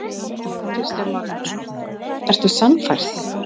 Kristján Már Unnarsson: Ertu sannfærð?